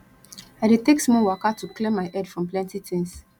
i dey take small waka to clear my head from plenty tins